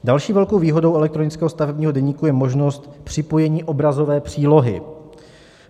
Další velkou výhodou elektronického stavebního deníku je možnost připojení obrazové přílohy.